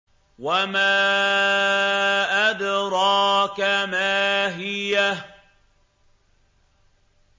وَمَا أَدْرَاكَ مَا هِيَهْ